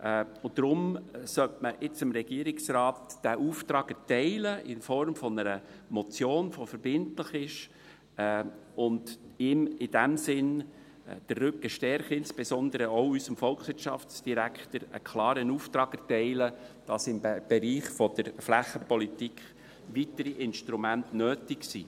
Deshalb sollte man nun dem Regierungsrat diesen Auftrag in Form einer Motion erteilen, die verbindlich ist, ihm in diesem Sinne den Rücken stärken und insbesondere auch unserem Volkswirtschaftsdirektor einen klaren Auftrag erteilen, wonach im Bereich der Flächenpolitik weitere Instrumente nötig sind.